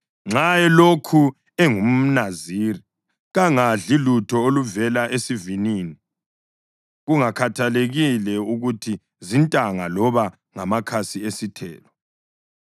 Nxa elokhu engumNaziri kangadli lutho oluvela esivinini kungakhathalekile ukuthi zintanga loba ngamakhasi esithelo.